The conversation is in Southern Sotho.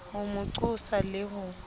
ho mo qosa le ho